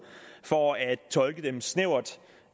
for at tolke dem snævert